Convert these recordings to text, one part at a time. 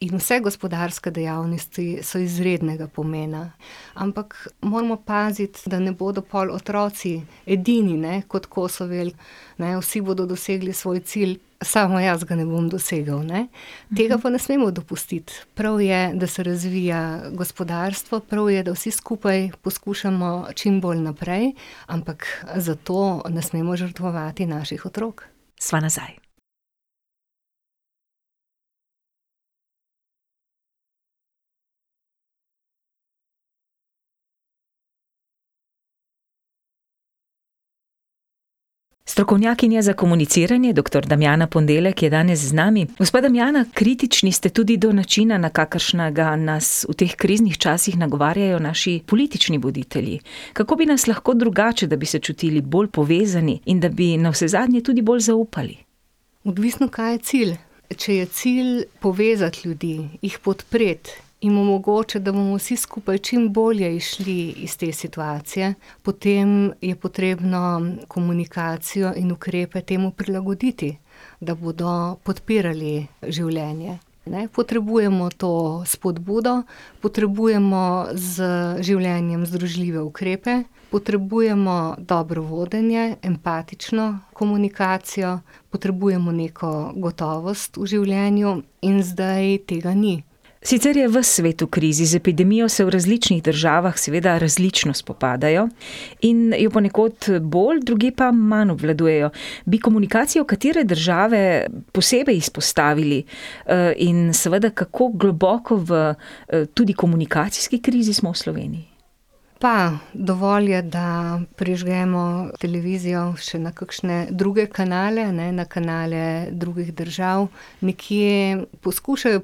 In vse gospodarske dejavnosti so izrednega pomena. Ampak moramo paziti, da ne bodo pol otroci edini, ne, kot Kosovel, ne, vsi bodo dosegli svoj cilj, samo jaz ga ne bom dosegel, ne. Tega pa ne smemo dopustiti. Prav je, da se razvija gospodarstvo, prav je, da vsi skupaj poskušamo čimbolj naprej. Ampak zato ne smemo žrtvovati naših otrok. Sva nazaj. Strokovnjakinja za komuniciranje, doktor Damjana Ponedeljek, je danes z nami. Gospa Damjana, kritični ste tudi do načina, na kakršnega nas v teh kriznih časih nagovarjajo naši politični voditelji. Kako bi nas lahko drugače, da bi se čutili bolj povezani in da bi navsezadnje tudi bolj zaupali? Odvisno, kaj je cilj. Če je cilj povezati ljudi, jih podpreti, jim omogočati, da bomo vsi skupaj čimbolje izšli iz te situacije, potem je potrebno komunikacijo in ukrepe temu prilagoditi, da bodo podpirali življenje, ne, potrebujemo to spodbudo, potrebujemo z življenjem združljive ukrepe, potrebujemo dobro vodenje, empatično komunikacijo, potrebujemo neko gotovost v življenju in zdaj tega ni. Sicer je ves svet v krizi. Z epidemijo se v različnih državah seveda različno spopadajo. In jo ponekod bolj, drugje pa manj obvladujejo. Bi komunikacijo katere države posebej izpostavili? in seveda, kako globoko v tudi komunikacijski krizi smo v Sloveniji? Pa, dovolj je, da prižgemo televizijo še na kakšne druge kanale, ne, na kanale drugih držav. Nekje poskušajo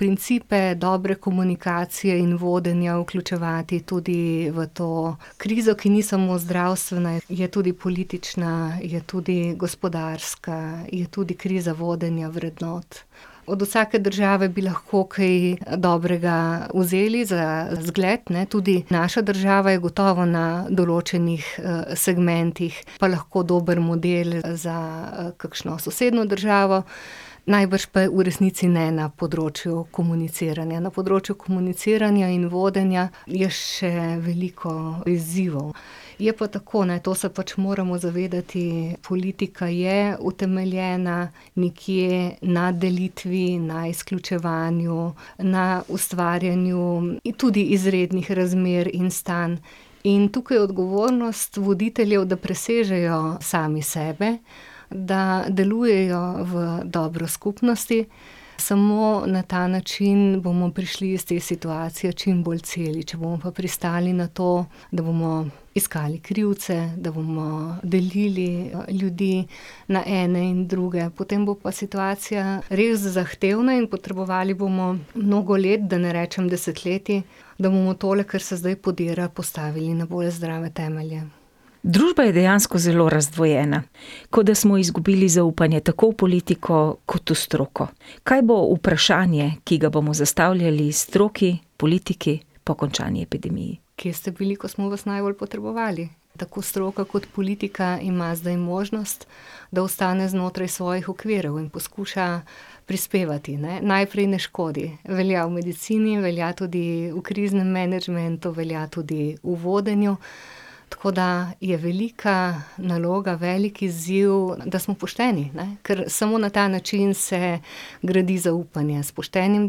principe dobre komunikacije in vodenja vključevati tudi v to krizo, ki ni samo zdravstvena, je tudi politična, je tudi gospodarska, je tudi kriza vodenja vrednot. Od vsake države bi lahko kaj dobrega vzeli za zgled, ne, tudi naša država je gotovo na določenih, segmentih pa lahko dober model za, kakšno sosednjo državo. Najbrž pa v resnici ne na področju komuniciranja. Na področju komuniciranja in vodenja je še veliko izzivov. Je pa tako, ne, to se pač moramo zavedati, politika je utemeljena nekje na delitvi, na izključevanju, na ustvarjanju, tudi izrednih razmer in stanj. In tukaj odgovornost voditeljev, da presežejo sami sebe, da delujejo v dobro skupnosti. Samo na ta način bomo prišli iz te situacije čimbolj celi, če bomo pa pristali na to, da bomo iskali krivce, da bomo delili ljudi na ene in druge, potem bo pa situacija res zahtevna in potrebovali bomo mnogo let, da ne rečem desetletij, da bomo tole, kar se zdaj podira, postavili na bolj zdrave temelje. Družba je dejansko zelo razdvojena. Kot da smo izgubili zaupanje tako v politiko kot v stroko. Kaj bo vprašanje, ki ga bomo zastavljali stroki, politiki po končani epidemiji? Kje ste bili, ko smo vas najbolj potrebovali? Tako stroka kot politika ima zdaj možnost, da ostane znotraj svojih okvirov in poskuša prispevati, ne, najprej ne škodi. Velja v medicini, velja tudi v kriznem menedžmentu, velja tudi v vodenju. Tako da je velika naloga, velik izziv, da smo pošteni, ne, ker samo na ta način se gradi zaupanje, s poštenim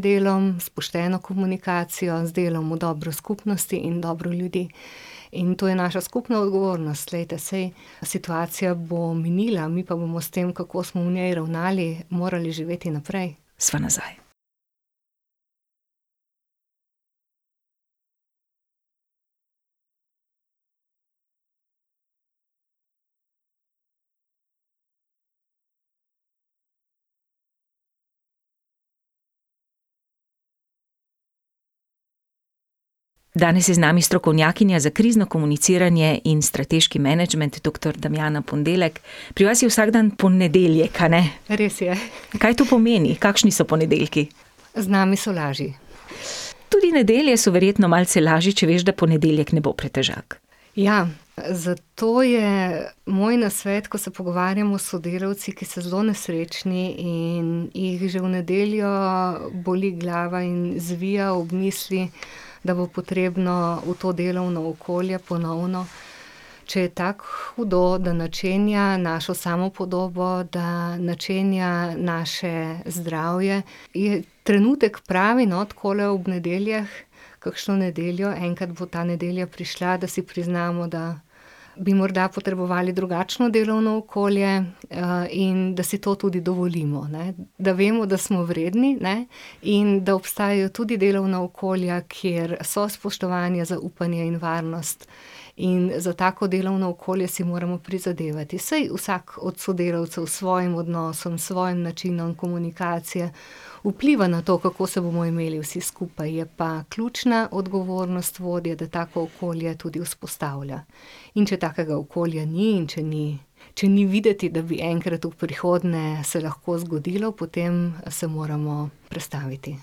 delom, s pošteno komunikacijo, z delom v dobro skupnosti in dobro ljudi. In to je naša skupna odgovornost, glejte, saj situacija bo minila, mi pa bomo s tem, kako smo v njej ravnali, morali živeti naprej. Sva nazaj. Danes je z nami strokovnjakinja za krizno komuniciranje in strateški menedžment, doktor Damjana Ponedeljek. Pri vas je vsak dan ponedeljek, a ne? Res je. Kaj to pomeni? Kakšni so ponedeljki? Z nami so lažje. Tudi nedelje so verjetno malce lažje, če veš, da ponedeljek ne bo pretežak. Ja, zato je moj nasvet, ko se pogovarjamo s sodelavci, ki so zelo nesrečni in jih že v nedeljo boli glava in zvija ob misli, da bo potrebno v to delovno okolje ponovno, če je tako hudo, da načenja našo samopodobo, da načenja naše zdravje, je trenutek pravi, no, takole ob nedeljah, kakšno nedeljo, enkrat bo ta nedelja prišla, da si priznamo, da bi morda potrebovali drugačno delovno okolje, in da si to tudi dovolimo, ne. Da vemo, da smo vredni, ne. In da obstajajo tudi delovna okolja, kjer so spoštovanje, zaupanje in varnost. In za tako delovno okolje si moramo prizadevati. Saj vsak od sodelavcev s svojim odnosom, s svojim načinom komunikacije vpliva na to, kako se bomo imeli vsi skupaj. Je pa ključna odgovornost vodje, da tako okolje tudi vzpostavlja. In če takega okolja ni in če ni, če ni videti, da bi enkrat v prihodnje se lahko zgodilo, potem se moramo prestaviti.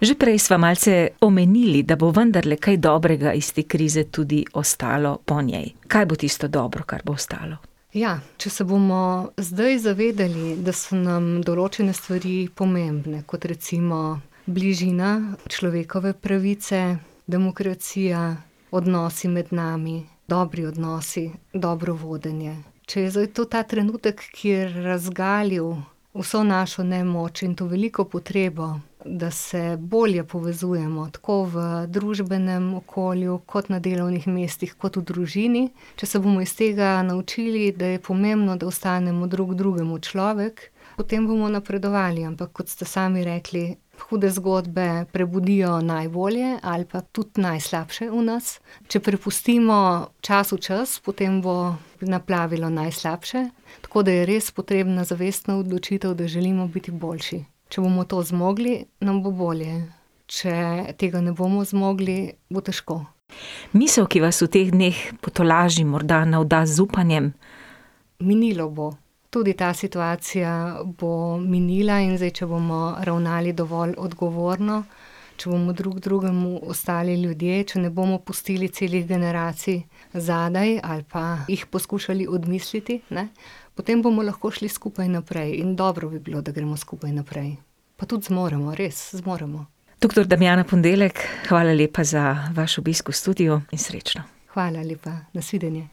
Že prej sva malce omenili, da bo vendarle kaj dobrega iz te krize tudi ostalo po njej. Kaj bo tisto dobro, kar bo ostalo? Ja, če se bomo zdaj zavedali, da so nam določene stvari pomembne, kot recimo bližina, človekove pravice, demokracija, odnosi med nami, dobri odnosi, dobro vodenje. Če je zdaj to ta trenutek, ki je razgalil vso našo nemoč in to veliko potrebo, da se bolje povezujemo, tako v družbenem okolju kot na delovnih mestih, kot v družini. Če se bomo iz tega naučili, da je pomembno, da ostanemo drug drugemu človek, potem bomo napredovali, ampak kot ste sami rekli, hude zgodbe prebudijo najbolje ali pa tudi najslabše v nas. Če prepustimo času čas, potem bo naplavilo najslabše, tako da je res potrebna zavestna odločitev, da želimo biti boljši. Če bomo to zmogli, nam bo bolje. Če tega ne bomo zmogli, bo težko. Misli, ki vas v teh dneh potolaži, morda navda z upanjem? Minilo bo. Tudi ta situacija bo minila in zdaj, če bomo ravnali dovolj odgovorno, če bomo drug drugemu ostali ljudje, če ne bomo pustili celih generacij zadaj ali pa jih poskušali odmisliti, ne, potem bomo lahko šli skupaj naprej, in dobro bi bilo, da gremo skupaj naprej. Pa tudi zmoremo, res, zmoremo. Doktor Damjana Ponedeljek, hvala lepa za vaš obisk v studiu in srečno. Hvala lepa, nasvidenje.